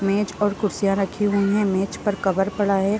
मेज पर कुर्सियाँ रखी हुई है मेज पर कवर पड़ा है।